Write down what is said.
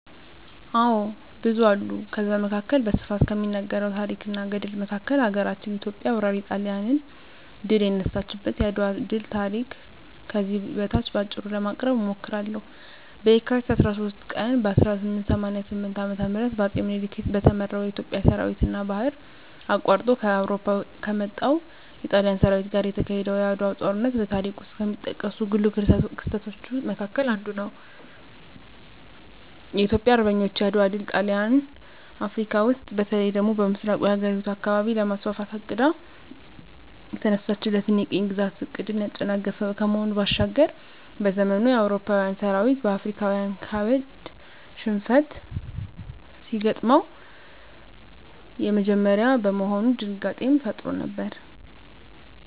አዎ ብዙ አሉ ከዛ መካከል በስፋት ከሚነገረው ታረክ እና ገድል መካከል ሀገራችን ኢትዮጵያ ወራሪ ጣሊያንን ድል የነሳችበት የአድዋ ድል ታሪክ ከዚህ በታች በአጭሩ ለማቅረብ እሞክራለሁ፦ በካቲት 23 ቀን 1888 ዓ.ም በአጼ ምኒልክ በተመራው የኢትዮጵያ ሠራዊትና ባህር አቋርጦ ከአውሮፓ ከመጣው የጣሊያን ሠራዊት ጋር የተካሄደው የዓድዋው ጦርነት በታሪክ ውስጥ ከሚጠቀሱ ጉልህ ክስተቶች መካከል አንዱ ነው። የኢትዮጵያ አርበኞች የዓድዋ ድል ጣሊያን አፍረካ ውስጥ በተለይ ደግሞ በምሥራቁ የአህጉሪቱ አካባቢ ለማስፋፋት አቅዳ የተነሳችለትን የቅኝ ግዛት ዕቅድን ያጨናገፈ ከመሆኑ ባሻገር፤ በዘመኑ የአውሮፓዊያን ሠራዊት በአፍሪካዊያን ካበድ ሽንፈት ሲገጥመው የመጀመሪያ በመሆኑ ድንጋጤንም ፈጥሮ ነበር።